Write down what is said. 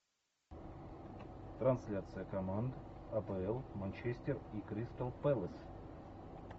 трансляция команд апл манчестер и кристал пэлас